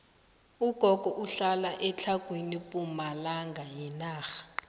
ugogo uhlala etlhagwini pumalanga yenarha